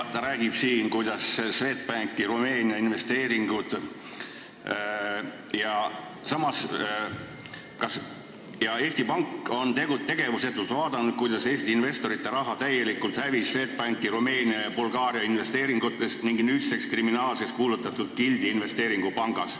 " Ta räägib siin Swedbanki Rumeenia investeeringutest – sellest, kuidas Eesti Pank vaatas tegevusetult pealt, kuidas Eesti investorite raha hävis täielikult Swedbanki Rumeenia ja Bulgaaria investeeringutes ning nüüdseks kriminaalseks kuulutatud Gildi investeerimispangas.